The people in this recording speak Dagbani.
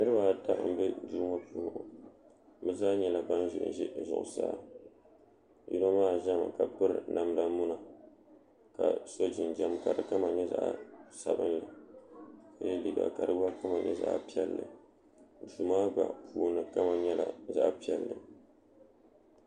niribaata n bɛ doŋɔ puuni ŋɔ be zaa nyɛla ban ʒɛn ʒɛ zʋɣ' saa yino maa ʒɛmi ka pɛri namida muna ka so jinjam ka di kama nyɛ zaɣ' sabinli la yɛ liga ka di kama nyɛ zaɣ piɛli do maa gba puuni nyɛla zaɣ piɛli